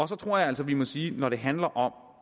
så tror jeg altså vi må sige at når det handler om